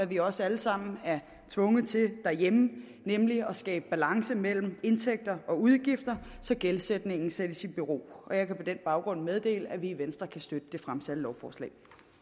vi også alle sammen er tvunget til derhjemme nemlig at skabe balance mellem indtægter og udgifter så gældsætningen sættes i bero og jeg kan på den baggrund meddele at vi i venstre kan støtte det fremsatte lovforslag